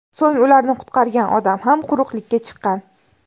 So‘ng ularni qutqargan odam ham quruqlikka chiqqan.